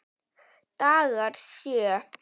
Dagar sjö